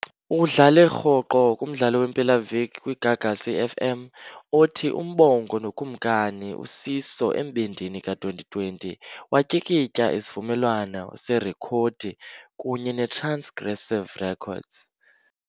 Udlale rhoqo kumdlalo wempelaviki kwiGagasi FM, othi, uMbongo noKumkani uSiso Embindini ka-2020, watyikitya isivumelwano serekhodi kunye neTransgressive Records.